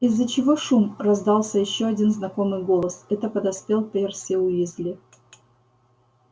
из-за чего шум раздался ещё один знакомый голос это подоспел перси уизли